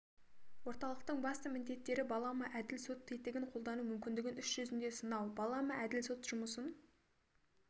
орталықтың басты міндеттері балама әділ сот тетігін қолдану мүмкіндігін іс жүзінде сынау балама әділ сот жұмысын